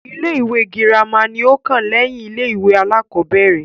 Ilé-ìwé girima ni ó kàn lẹ́yìn ilé-ìwé aláàkọ́bẹ̀rẹ̀.